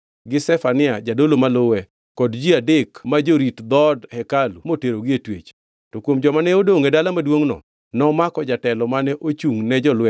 Jatend jolweny marito ruoth nomako Seraya jadolo maduongʼ, gi Zefania jadolo maluwe kod ji adek ma jorit dhoot hekalu moterogi e twech.